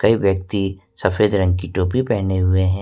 एक व्यक्ति सफेद रंग की टोपी पहने हुए हैं।